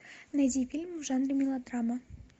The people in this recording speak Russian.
найди фильм в жанре мелодрама